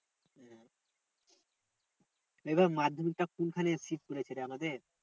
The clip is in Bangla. এবার মাধ্যমিক টা কোন খানে seat পড়েছে রে আমাদের?